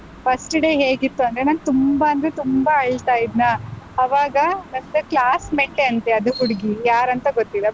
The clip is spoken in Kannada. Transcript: First day ಹೇಗಿತ್ತು ಅಂದ್ರೆ ನಾನ್ ತುಂಬಾ ಅಂದ್ರೆ ತುಂಬಾ ಅಳ್ತಾ ಇದ್ನಾ, ಆವಾಗ ನಂದು classmate ಅಂತೆ ಅದು ಹುಡ್ಗಿ, ಯಾರಂತ ಗೊತ್ತಿಲ್ಲ.